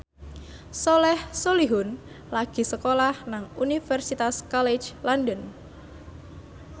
Soleh Solihun lagi sekolah nang Universitas College London